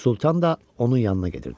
Sultan da onun yanına gedirdi.